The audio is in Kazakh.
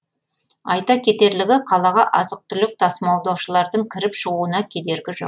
айта кетерлігі қалаға азық түлік тасымалдаушылардың кіріп шығуына кедергі жоқ